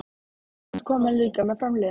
En þeir koma líka með framliðnum.